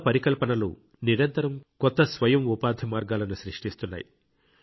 కొత్త పరికల్పనలు నిరంతరం కొత్త స్వయం ఉపాధి మార్గాలను సృష్టిస్తున్నాయి